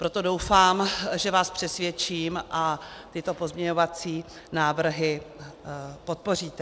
Proto doufám, že vás přesvědčím a tyto pozměňovací návrhy podpoříte.